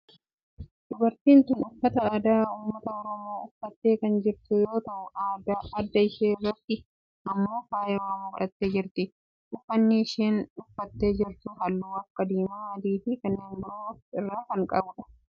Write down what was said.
Dubartiin tun uffata aadaa ummata Oromoo uffattee kan jirtu yoo ta'u adda ishee irratti immoo faaya oromoo godhattee jirti. Uffanni isheen uffattee jirtu halluu akka diimaa, adii fi kanneen biroo of irraa qaba.